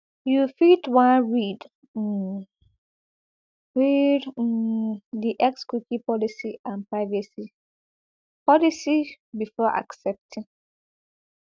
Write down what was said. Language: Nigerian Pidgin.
you fit wan read di xcookie policyandprivacy um policybefore accepting accepting